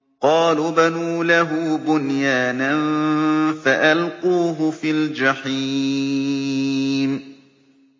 قَالُوا ابْنُوا لَهُ بُنْيَانًا فَأَلْقُوهُ فِي الْجَحِيمِ